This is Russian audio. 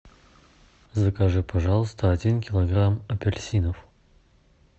закажи пожалуйста один килограмм апельсинов